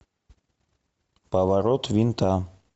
поворот винта